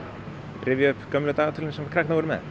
rifja upp gömlu dagatölin sem krakkar voru með